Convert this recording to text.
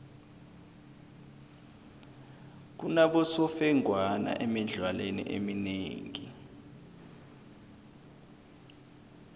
kunabosemfengwana emidlalweni eminengi